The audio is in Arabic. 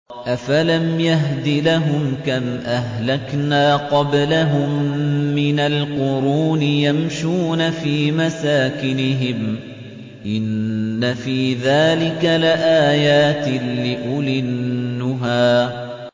أَفَلَمْ يَهْدِ لَهُمْ كَمْ أَهْلَكْنَا قَبْلَهُم مِّنَ الْقُرُونِ يَمْشُونَ فِي مَسَاكِنِهِمْ ۗ إِنَّ فِي ذَٰلِكَ لَآيَاتٍ لِّأُولِي النُّهَىٰ